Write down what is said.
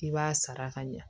I b'a sara ka ɲa